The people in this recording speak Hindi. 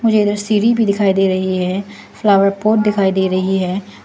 मुझे इधर सीढ़ी भी दिखाई दे रही है फ्लावर पॉट दिखाई दे रही है।